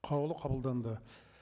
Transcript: қаулы қабылданды